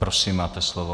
Prosím, máte slovo.